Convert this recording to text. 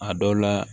A dɔw la